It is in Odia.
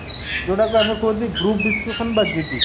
ଯୋଉଟାକୁ ଆମେ କହୁଛେ group discussion ବା GD